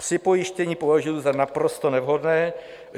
Připojištění považuji za naprosto nevhodné.